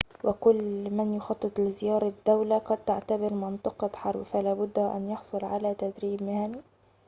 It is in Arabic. وكل من يخطط لزيارة دولة قد تعتبر منطقة حرب فلابد وأن يحصل على تدريب مهني